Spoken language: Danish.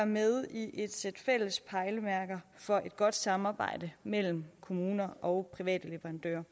med i et sæt fælles pejlemærker for et godt samarbejde mellem kommuner og private leverandører